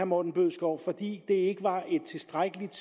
morten bødskov fordi det ikke var et tilstrækkeligt